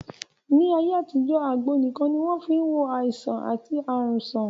Ní ayé àtijọ́, àgbo nìkan ni wọ́n fí n wo àìsàn àti ààrùn sàn